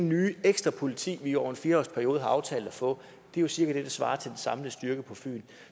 nye ekstra politi vi over en fire års periode har aftalt at få er jo cirka det der svarer til den samlede styrke på fyn